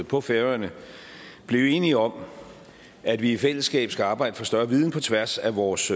på færøerne blev enige om at vi i fællesskab skal arbejde for større viden på tværs af vores